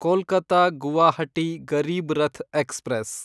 Kolkata Guwahati Garib Rath express